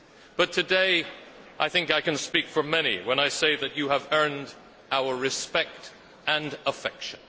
But today I think I can speak for many when I say that you have earned our respect and affection.